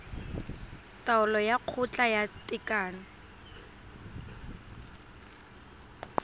taolo ya kgotla ya tekano